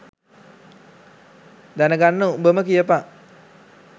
දැන ගන්න උඹම කියපන්.